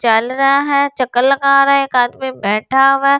चल रहा है चक्कर लगा रहा है एक आदमी बैठा हुआ है।